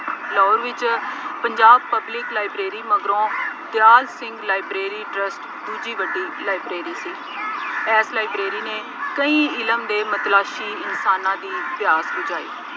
ਲਾਹੌਰ ਵਿੱਚ Punjab public library ਮਗਰੋਂ Dyal Singh library trust ਦੂਜੀ ਵੱਡੀ ਲਾਈਬ੍ਰੇਰੀ ਸੀ। ਇਸ ਲਾਈਬ੍ਰੇਰੀ ਨੇ ਕਈ ਇਲਮ ਦੇ ਮਤਲਾਸੀ ਇਨਸਾਨਾਂ ਦੀ ਪਿਆਸ ਬੁਝਾਈ।